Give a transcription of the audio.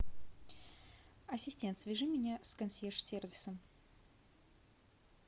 ассистент свяжи меня с консьерж сервисом